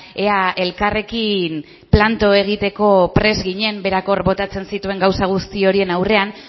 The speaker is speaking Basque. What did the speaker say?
ea elkarrekin planto egiteko prest ginen berak hor botatzen zituen gauza guzti horien aurrean